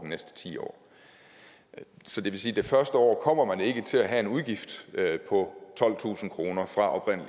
næste ti år så det vil sige at det første år kommer man ikke til at have en udgift på tolvtusind kroner